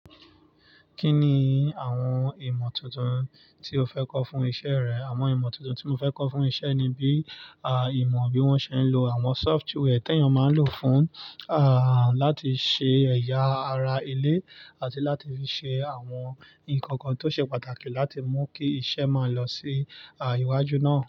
Kí ni àwọn ìmọ̀ tuntun tí o fẹ́ kọ́ fún isẹ́ rẹ? Àwọn ìmọ̀ tuntun tí mo fẹ́ kọ́ fún isẹ́ ni bí, à, ìmọ̀ bí wọ́n ṣe ń lo àwọn software tí èèyàn máa ń lò fún, à, láti ṣe ẹ̀ya ara ilé àti láti fi ṣe àwọn nǹkan kan tó ṣe pàtàkì láti mú kí isẹ́ máa lọ sí, à, iwájú náà.